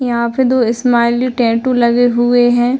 यहाँ पे दो स्माइली टेंटू गले हुए हैं।